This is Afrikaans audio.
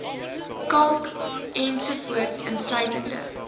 kalk ens insluitende